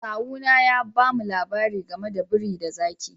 Kawu na ya ba mu labari game da biri da zaki.